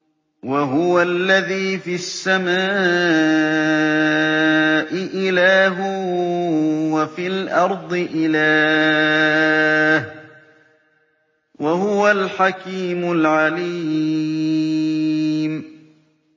وَهُوَ الَّذِي فِي السَّمَاءِ إِلَٰهٌ وَفِي الْأَرْضِ إِلَٰهٌ ۚ وَهُوَ الْحَكِيمُ الْعَلِيمُ